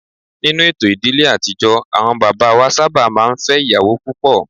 Ninu eto ìdílé àtijọ́ àwọn bàbá wa sábà máa ń fẹ́ ìyàwó púpọ̀